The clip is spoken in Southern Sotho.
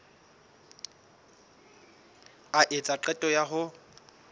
a etsa qeto ya ho